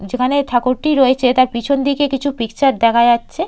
যেখানে ঠাকুরটি রয়েছে তার পিছন দিকে কিছু পিকচার দেখা যাচ্ছে।